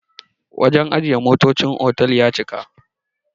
wajen ajiye motocin otal ya cika